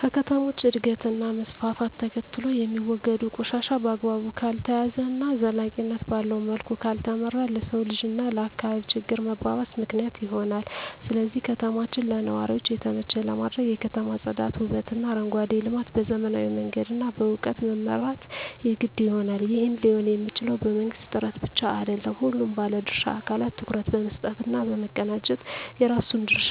ከከተሞች እድገት እና መስፍፍት ተከትሎየሚወገዱ ቆሻሻ በአግባቡ ካልተያዘ እና ዘላቂነት ባለዉ መልኩ ካልተመራ ለሰዉ ልጅ እና ለአካባቢ ችግር መባባስ ምክንያት ይሆናል ስለዚህ ከተማችን ለነዋሪዎች የተመቸ ለማድረግ የከተማ ፅዳት ዉበትእና አረንጓዴ ልማት በዘመናዊ መንገድ እና በእዉቀት መምራት የግድ ይሆናል ይህም ሊሆንየሚችለዉ በመንግስት ጥረት ብቻ አይደለም ሁሉም ባለድርሻ አካላት ትኩረት በመስጠት እና በመቀናጀት የራሱን ድርሻ